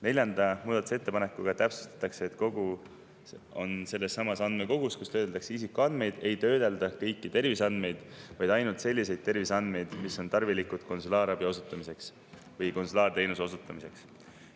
Neljanda muudatusettepanekuga täpsustatakse, et sellessamas andmekogus, kus töödeldakse isikuandmeid, ei töödelda kõiki terviseandmeid, vaid ainult selliseid terviseandmeid, mis on tarvilikud konsulaarabi osutamiseks või konsulaarteenuse osutamiseks.